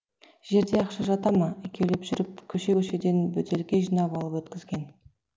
жерде ақша жата ма екеулеп жүріп көше көшеден бөтелке жинап алып өткізген